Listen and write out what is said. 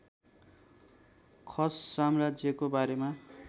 खस साम्राज्यको बारेमा